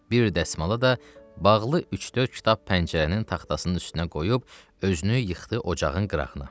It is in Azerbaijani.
Bir dəsmala da bağlı üç-dörd kitab pəncərənin taxtasının üstünə qoyub özünü yıxdı ocağın qırağına.